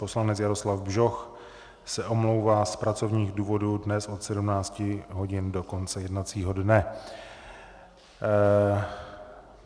Poslanec Jaroslav Bžoch se omlouvá z pracovních důvodů dnes od 17 hodin do konce jednacího dne.